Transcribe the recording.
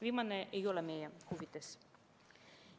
Viimane ei ole meie huvides.